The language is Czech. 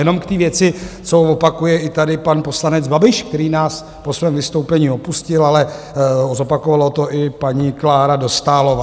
Jenom k té věci, co opakuje tady i pan poslanec Babiš, který nás po svém vystoupení opustil, ale zopakovala to i paní Klára Dostálová.